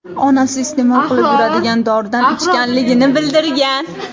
onasi iste’mol qilib yuradigan doridan ichganligini bildirgan.